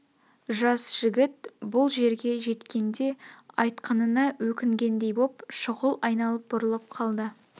жас жігіт бұл жерге жеткенде айтқанына өкінгендей боп шұғыл айналып бұрылып қалды